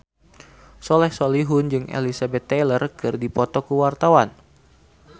Soleh Solihun jeung Elizabeth Taylor keur dipoto ku wartawan